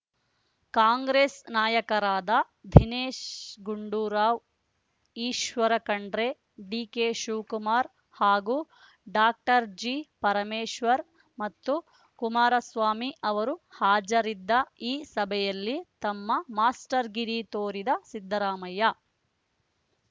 ಕಾಂಗ್ರೆಸ್‌ ನಾಯಕರಾದ ದಿನೇಶ್‌ ಗುಂಡೂರಾವ್‌ ಈಶ್ವರ ಖಂಡ್ರೆ ಡಿಕೆಶಿವಕುಮಾರ್‌ ಹಾಗೂ ಡಾಕ್ಟರ್ ಜಿಪರಮೇಶ್ವರ್‌ ಮತ್ತು ಕುಮಾರಸ್ವಾಮಿ ಅವರು ಹಾಜರಿದ್ದ ಈ ಸಭೆಯಲ್ಲಿ ತಮ್ಮ ಮಾಸ್ಟರ್‌ಗಿರಿ ತೋರಿದ ಸಿದ್ದರಾಮಯ್ಯ